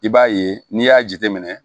I b'a ye n'i y'a jateminɛ